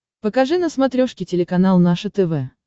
покажи на смотрешке телеканал наше тв